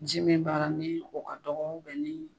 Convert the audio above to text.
Ji min b'a la ni o ka dɔgɔ ni